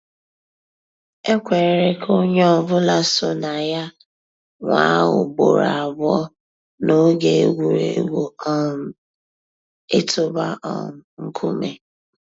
É kwèré kà ónyé ọ̀ bụ́là só nà yà nwáá ùgbòró àbụ́ọ́ n'óge ègwùrégwú um ị̀tụ́bà um nkúmé.